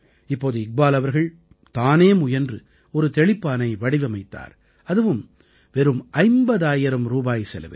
இப்போது இக்பால் அவர்கள் தானே முயன்று ஒரு தெளிப்பானை வடிவமைத்தார் அதுவும் வெறும் 50000 ரூபாய் செலவில்